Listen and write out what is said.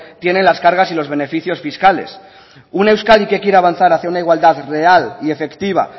tiene las cargas y los beneficios fiscales una euskadi que quiera avanzar hacia una igualdad real y efectiva